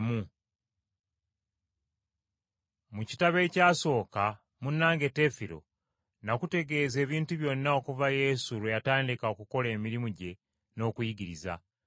Mu kitabo ekyasooka, munnange Teefiro, nakutegeeza ebintu byonna okuva Yesu lwe yatandika okukola emirimu gye n’okuyigiriza,